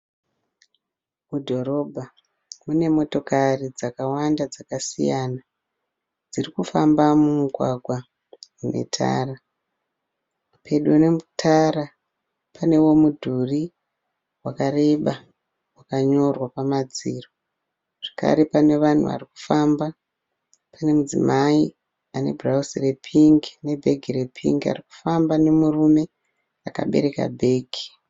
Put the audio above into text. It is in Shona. Mudhorobha. Mune motokari dzakawanda dzakasiyana dzirikufamba mumugwagwa metara . Pedo netara panewo mudhuri wakareba wakanyorwa pamadziro zvakare pane vanhu varikufamba pane mudzimai ane bhurauzi repingi ne bhegi repingi arikufamba nemurume akabereka bhegi.